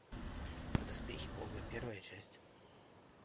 доспехи бога первая часть